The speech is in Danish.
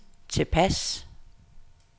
tilpas